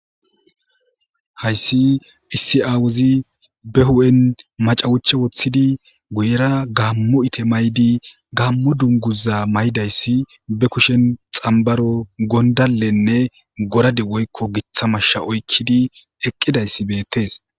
hayssi issi aawozi be'hun macawucha wottidi guyera gaammo ite mayidi gammo dunguza mayidayssi be kushen xambaro gondalenne gorade woykko gitta mashsha oykkidi eqqida izi beettees.